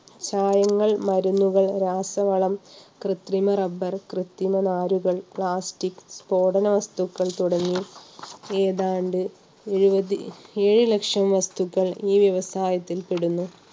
ചായങ്ങൾ, മരുന്നുകൾ, രാസവള, കൃത്രിമ റബ്ബർ, കൃത്രിമ നാരുകൾ, പ്ലാസ്റ്റിക്, സ്ഫോടന വസ്തുക്കൾ തുടങ്ങി ഏതാണ്ട് എഴുപത് ഏഴ് ലക്ഷം വസ്തുക്കൾ ഈ വ്യവസായത്തിൽ പെടുന്നു.